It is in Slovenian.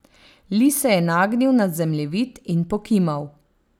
Li se je nagnil nad zemljevid in pokimal.